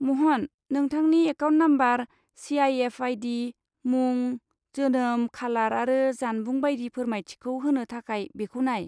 महन, नोंथांनि account number, CIF. ID., मुं, जोनोम खालार आरो जानबुं बायदि फोरमायथिखौ होनो थाखाय बेखौ नाय।